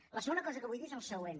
la segona cosa que vull dir és el següent